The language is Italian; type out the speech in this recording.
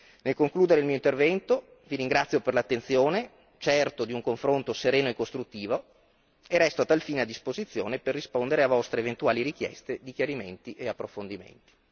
Nel concludere il mio intervento vi ringrazio per l'attenzione, certo di un confronto sereno e costruttivo, e resto a tal fine a disposizione per rispondere a vostre eventuali richieste di chiarimenti e approfondimenti.